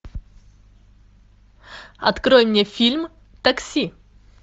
открой мне фильм такси